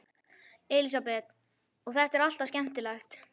Elísabet: Og er þetta alltaf skemmtilegt?